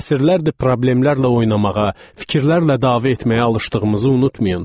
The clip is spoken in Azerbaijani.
Əsrlərdir problemlərlə oynamağa, fikirlərlə dava etməyə alışdığımızı unutmayın.